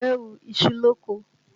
Àgbẹ̀ hu iṣu lóko